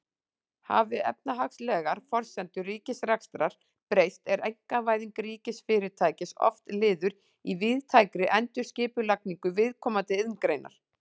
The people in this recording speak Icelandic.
Hafi efnahagslegar forsendur ríkisrekstrar breyst er einkavæðing ríkisfyrirtækis oft liður í víðtækri endurskipulagningu viðkomandi iðngreinar.